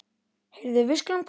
Heyrðu, við skulum koma.